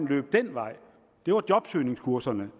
løbe den vej det var jobsøgningskurserne